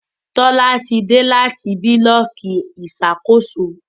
Tola tí dé láti Búlọ̀kì Ìṣàkóso.